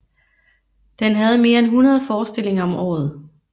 Den havde mere end 100 forestillinger om året